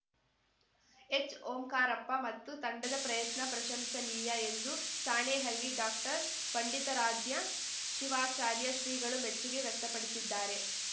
ಎಚ್‌ಓಂಕಾರಪ್ಪ ಮತ್ತು ತಂಡದ ಪ್ರಯತ್ನ ಪ್ರಶಂಸನೀಯ ಎಂದು ಸಾಣೇಹಳ್ಳಿ ಡಾಕ್ಟರ್ ಪಂಡಿತಾರಾಧ್ಯ ಶಿವಾಚಾರ್ಯ ಶ್ರೀಗಳು ಮೆಚ್ಚುಗೆ ವ್ಯಕ್ತಪಡಿಸಿದ್ದಾರೆ